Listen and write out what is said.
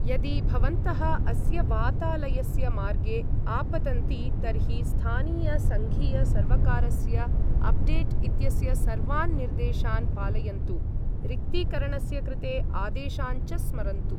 यदि भवन्तः अस्य वातालस्य मार्गे आपतन्ति तर्हि स्थानीय सङ्घीय सर्वकारस्य अपडेट् इत्यस्य सर्वान् निर्देशान् पालयन्तु, रिक्तीकरणस्य कृते आदेशान् च स्मरन्तु।